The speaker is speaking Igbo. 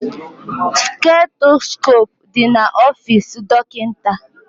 Stetoskope dị na ofisi dọkịta